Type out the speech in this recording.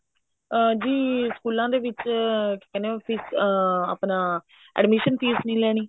ਅਮ ਜੀ ਸਕੂਲਾ ਦੇ ਵਿੱਚ ਅਮ ਆਪਣਾ admission fees ਨੀ ਲੈਣੀ